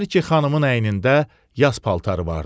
Hər iki xanımın əynində yas paltarı vardı.